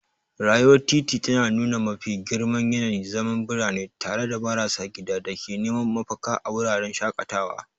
Rayuwar titi tana nuna mafi girman yanayin zaman birane, tare da marasa gida da ke neman mafaka a wuraren shakatawa.